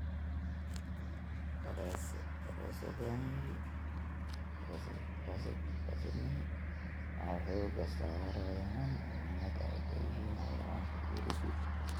Daraasadahani waxay xooga saarayaan muhiimada ay leeyihiin xayawaanka gurigu.